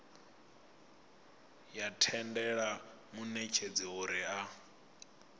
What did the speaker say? ya tendela munetshedzi uri a